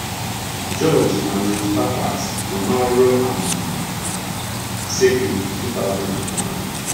George na Ruth Pappas nọ n’ọrụ um circuit, 2001.